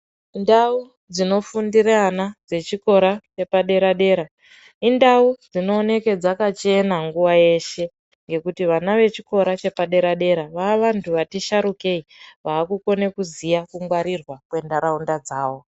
Ndau dzinofundire ana dzechikora chepadera-dera indau dzinooneke dzakachena nguva yeshe. Ngekuti vana echikora chepadera-dera vaavantu vati sharukei vaakukone kuziya kungwarirwa kwentaraunda dzavo.